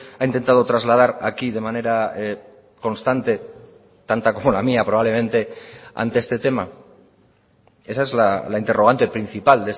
ha intentado trasladar aquí de manera constante tanta como la mía probablemente ante este tema esa es la interrogante principal